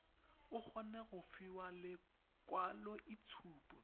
o kgone go fiwa lekwaloitshupo